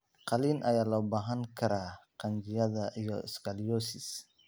Qaliin ayaa loo baahan karaa qanjidhada iyo scoliosis.